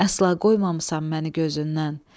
Əsla qoymamısan məni gözündən.